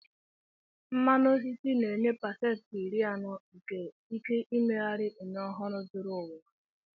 Mmanụ osisi na-enye pasentị iri anọ nke ike mmeghari ume ọhụrụ zuru ụwa ọnụ.